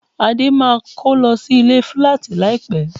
Adé máa kó lọ sílé fíláàtì láìpẹ́